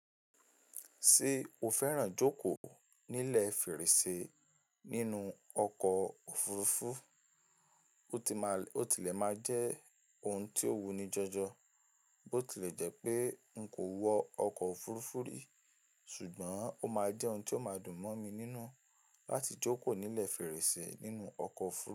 Ṣé o fẹ́ràn jókòó nílẹ̀ fèrèsé nínú ọkọ̀ òfurufú? Ó ti lè máa jẹ́ ohun tí ó wuni jọjọ bó ti lè jẹ́ pé n kò wọ ọkọ̀ òfurufú rí ṣùgbọ́n ó máa jẹ́ ohun tí ó máa dùn mọ́ mi nínú láti jókòó nílẹ̀ fèrèsé nínú ọkọ̀ òfurufú.